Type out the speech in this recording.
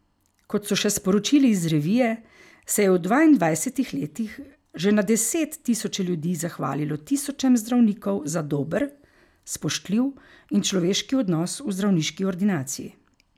Kot so še sporočili iz revije, se je v dvaindvajsetih letih že na deset tisoče ljudi zahvalilo tisočem zdravnikov za dober, spoštljiv in človeški odnos v zdravniški ordinaciji.